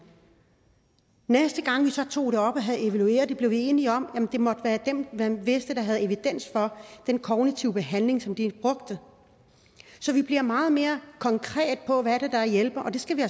næste gang vi så tog det op og havde evalueret det blev vi enige om at det måtte være dem man vidste der havde evidens for den kognitive behandling som de brugte så vi bliver meget mere konkrete på hvad det er der hjælper og det skal vi